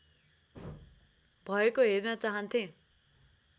भएको हेर्न चाहन्थे